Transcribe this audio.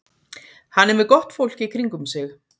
Hann er með gott fólk í kringum sig.